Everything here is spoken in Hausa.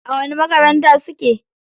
A wani makaranta suke?